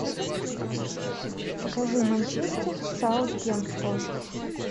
покажи манчестер саутгемптон